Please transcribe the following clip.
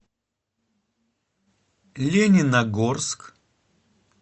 лениногорск